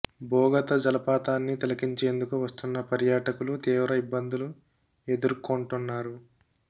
బొగత జలపాతన్ని తిలకించేందుకు వస్తున్న పర్యాటకులు తీవ్ర ఇబ్బందులు ఎ దుర్కోంటున్నారు